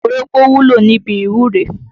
Orógbó wúlò níbi ìwúre.